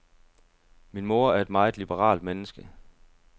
Min mor er et meget liberalt menneske.